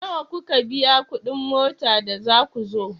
Nawa kuka biya kuɗin mota da za ku zo?